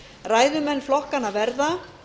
ræðumenn flokkanna verða